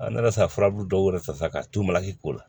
ne nana sarabu dɔw yɛrɛ ta sa k'a t'u maki ko la